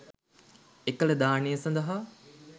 එකල දානය සඳහා